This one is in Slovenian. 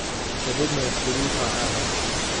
Še vedno je številka ena.